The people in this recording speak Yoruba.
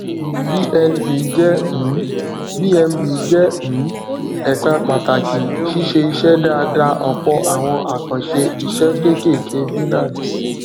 bnb jẹ um bnb jẹ um ẹka pàtàkì ṣíṣe iṣẹ dáadáa ọpọ àwọn àkànṣe iṣẹ kéékèèké binance